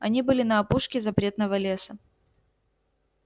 они были на опушке запретного леса